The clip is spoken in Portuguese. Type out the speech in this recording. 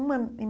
Uma em